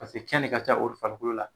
Paseke kɛn de ka ca olu farikolo la.